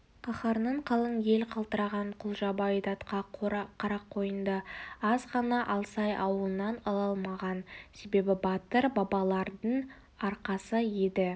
қаһарынан қалың ел қалтыраған құлжабай датқа қарақойынды аз ғана алсай ауылынан ала алмаған себебі батыр бабалардың арқасы еді